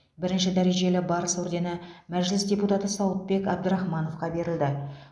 бірінші дәрежелі барыс ордені мәжіліс депутаты сауытбек абдрахмановқа берілді